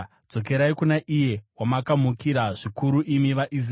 Dzokerai kuna iye wamakamukira zvikuru, imi vaIsraeri.